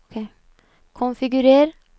konfigurer